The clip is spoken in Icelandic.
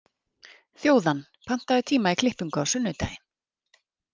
Þjóðann, pantaðu tíma í klippingu á sunnudaginn.